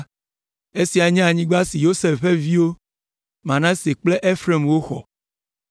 Esiae nye anyigba si Yosef ƒe viwo, Manase kple Efraim woxɔ.